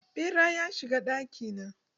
Ɓera ya shiga ɗaki na.